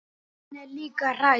Hún er líka hrædd.